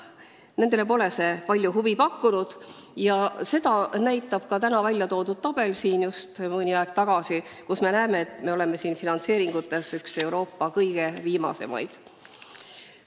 Neile pole see palju huvi pakkunud ja seda näitab ka täna siin mõni aeg tagasi väljatoodud tabel, kust me näeme, et me oleme finantseeringute poolest üks Euroopa kõige viimasemaid.